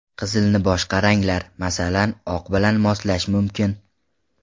Qizilni boshqa ranglar, masalan, oq bilan moslash mumkin.